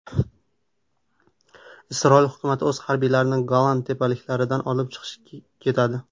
Isroil hukumati o‘z harbiylarini Golan tepaliklaridan olib chiqib ketadi.